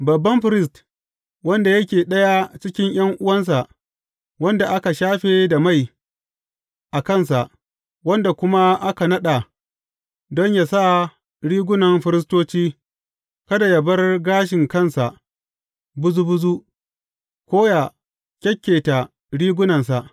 Babban firist, wanda yake ɗaya cikin ’yan’uwansa wanda aka shafe da mai a kansa, wanda kuma aka naɗa don yă sa rigunan firistoci, kada yă bar gashin kansa buzu buzu, ko ya kyakketa rigunansa.